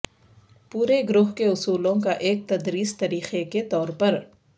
پورے گروہ کے اصولوں کا ایک تدریس طریقہ کے طور پر